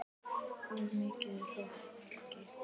Of mikill hroki.